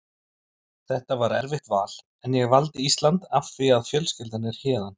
Þetta var erfitt val en ég valdi Ísland af því að fjölskyldan er héðan.